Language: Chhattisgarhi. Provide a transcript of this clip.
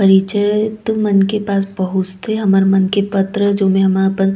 परिचय तो मन के पास पहुंचते हमर मन के पत्र जो मे हमन अपन--